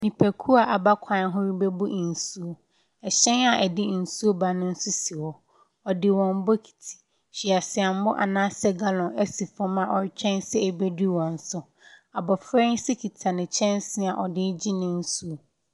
Nnipa a aba kwan ho rebɛbu nsuo, hyɛn a ɛde nsuo ba no nso si hɔ. Wɔde wɔn bokiti, hweaseammɔ anaa sɛ gallon asi fam a wɔretwɛn sɛ ɛbɛduru wɔn so. Abɔfra yi nso kita ne kyɛnse a ɔde regye ne nsuo.